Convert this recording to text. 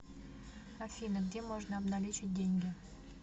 афина где можно обналичить деньги